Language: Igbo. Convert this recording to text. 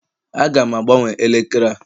Aga m agbanwe elekere a